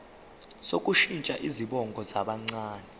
sokushintsha izibongo zabancane